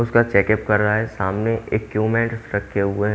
उसका check up कर रहा है सामने एक्यूमेंट रखे हुए--